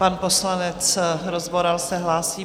Pan poslanec Rozvoral se hlásí.